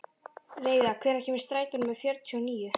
Veiga, hvenær kemur strætó númer fjörutíu og níu?